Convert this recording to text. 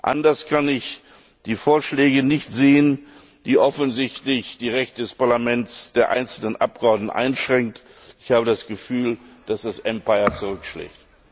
Anders kann ich die Vorschläge nicht sehen, die offensichtlich die Rechte des Parlaments, der einzelnen Abgeordneten einschränken. Ich habe das Gefühl, dass das Empire zurückschlägt.